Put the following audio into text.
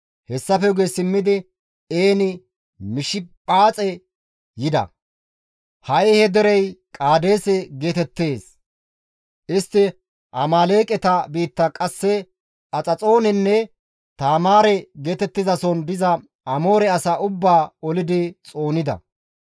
Hessafe guye simmidi En-Mishipaaxe yida. (Ha7i he derey Qaadeese geetettees.) Istti Amaaleeqeta biitta qasse Haxaxoone Taamaare geetettizason diza Amoore asaa ubbaa olidi xoonida.